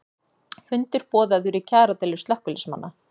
Fundur boðaður í kjaradeilu slökkviliðsmanna